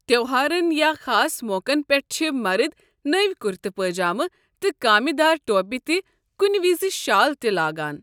تہوہارن یا خاص موقن پٮ۪ٹھ چھِ مرد نٔوِ کُرتہٕ پٲجامہٕ تہ کامہِ دار ٹوپہِِ تہٕ کُنہِ وِزِ شال تہِ لاگان۔